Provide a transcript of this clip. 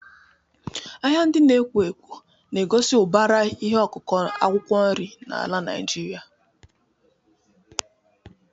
Ahịa ndị na-ekwo ekwo na-egosi ụbara ihe akụkụ akwụkwọ nri n'ala Naijiria.